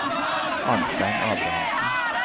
Arnstein Abrahamsen